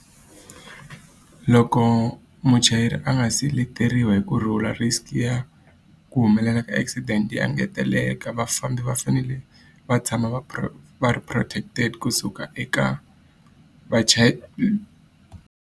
Loko muchayeri a nga se leteriwa hi ku rhula risk ya ku humelela ka accident engeteleka. Vafambi va fanele va tshama va va ri protected kusuka eka .